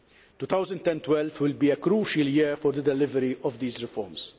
2012 will be a crucial year for the delivery of these reforms.